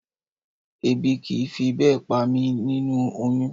Ebi kì í fi bẹ́ẹ̀ pa mí nínú oyún